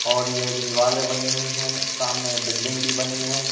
और ये दिवाले बनी हुई है सामने बिल्डिंग भी बनी है।